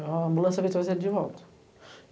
A ambulância veio e trouxe ele de volta.